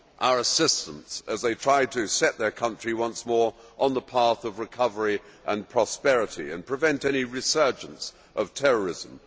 our assistance as they try to set their country once more on the path of recovery and prosperity and prevent any resurgence of terrorism.